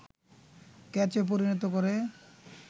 ক্যাচে পরিণত করে